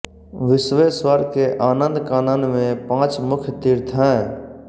विश्वेश्वर के आनंदकानन में पांच मुख्य तीर्थ हैं